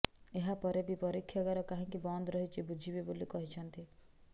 ଏହା ପରେବି ପରୀକ୍ଷାଗାର କାହିଁକି ବନ୍ଦ ରହିଛି ବୁଝିବେ ବୋଲି କହିଛନ୍ତି